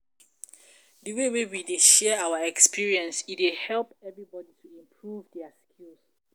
Di way we dey share our experience, e dey help everybodi to improve their skills.